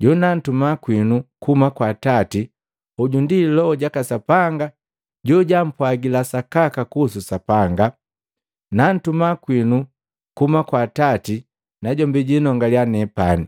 jonantuma kwinu kuhuma kwa Atati, hoju ndi Loho jaka Sapanga jojampwagila sakaka kuhusu Sapanga. Nantuma kwinu kuhuma kwa Atati najombi jinongaliya nepani.